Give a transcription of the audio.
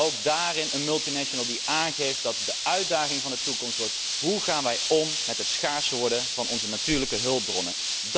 Ook daar een multinational die aangeeft dat de uitdaging van de toekomst is hoe gaan wij om met het schaarser worden van onze natuurlijke hulpbronnen.